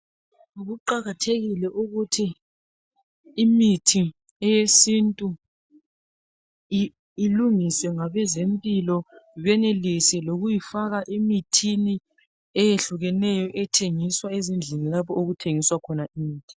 Kuqakathekile ukuthi imithi yesintu ilungiswe ngabezempilakahle benelise lokuyifaka emithini eyehlukeneyo ethengiswa ezindlini lapho okuthengiswa khona imithi.